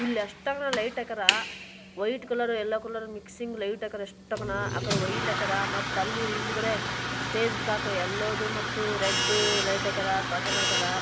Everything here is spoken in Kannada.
ಇಲ್ಲ ಎಸ್ಟೇಕೊಂ ಲೈಟ್ ಹಾಕ್ಯಾರ white colour yellow colour mixing light ಹಾಕರ್ ಎಷ್ಟೊಕೊನ್ನಆಕಡೆ ವೈಟ್ ಹಾಕ್ಯರ ಮತ್ತೆಅಲ್ಲಿ ಹಿಂದೆಗಡೆ ಸ್ಟೇಜ್ ತಕ ಎಲ್ಲೋದ್ರು ಮತ್ತು ರೆಡ್ ಲೈಟ್ ಹಾಕರ್ ಕರ್ಟನ್ ಹಾಕರ್.